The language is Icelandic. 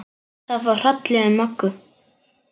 Það fór hrollur um Möggu.